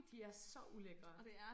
De er så ulækre